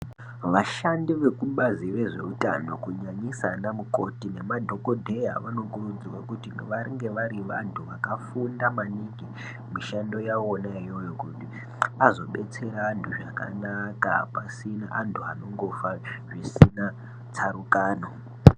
Vashandi veku bazi re zveutano kunyanyisa ana mukoti ne madhokodheya vano kurudzirwe kuti vange vari vantu vakafunda maningi mu mishando yavona iyoyo kuti azo betsera antu zvakanaka pasina antu anongofa zvisina tsarukano.